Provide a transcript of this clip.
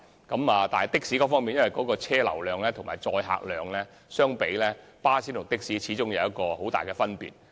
然而，巴士與的士在車流量和載客量方面，始終有很大分別。